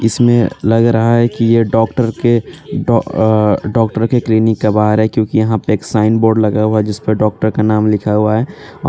इसमें लग रहा है कि ये डॉक्टर के डॉ अअ डॉक्टर के क्लीनिक के बाहर है क्यूंकि यहां पे एक साइन बोर्ड लगा हुआ है जिसपर डॉक्टर का नाम लिखा हुआ है।